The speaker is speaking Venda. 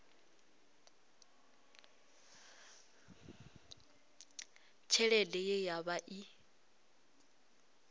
tshelede ye ya vha i